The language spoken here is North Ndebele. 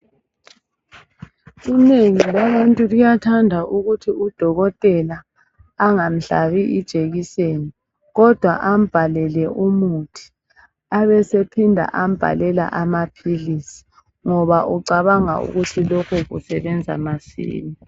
Inengi labantu liyathanda ukuthi udokotela angamhlabi ijekiseni. Kodwa ambalele umuthi abesephinda ambalela amaphilisi ngoba ucabanga ukuthi lokhu kusebenza masinya.